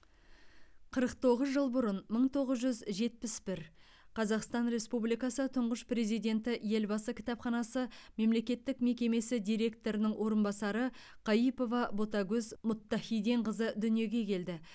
қырық тоғыз жыл бұрын мың тоғыз жүз жетпіс бір қазақстан республикасы тұңғыш президенті елбасы кітапханасы мемлекеттік мекемесі директорының орынбасары каипова ботагөз мұттахиденқызы дүниеге келді